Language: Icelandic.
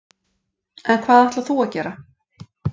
En hvað ætlar þú að gera?